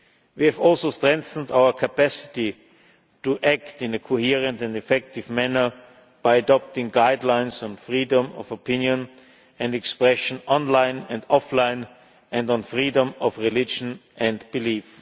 We have also strengthened our capacity to act in a coherent and effective manner by adopting guidelines on freedom of opinion and expression online and offline, and on freedom of religion and belief.